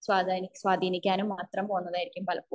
സ്വത്തായി സ്വാതീനിക്കാനും മാത്രം പോന്നതായിരിക്കും പലപ്പോഴും